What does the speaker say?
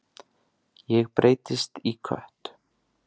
Ég breytist í kött.